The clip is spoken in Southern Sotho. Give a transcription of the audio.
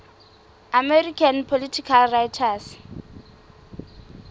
american political writers